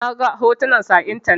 Na ga hotunan su a intanet.